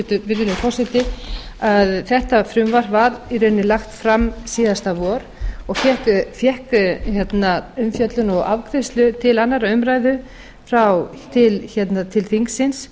við að bæta virðulegi forseti að þetta frumvarp var í rauninni lagt fram síðasta vor og fékk umfjöllun og afgreiðslu til annarrar umræðu til þingsins